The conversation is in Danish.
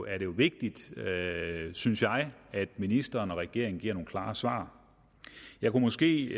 er det vigtigt synes jeg at ministeren og regeringen giver nogle klare svar jeg kunne måske